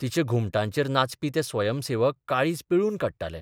तिच्या घुमटांचेर नाचपी ते स्वयंसेवक काळीज पिळून काडटाले.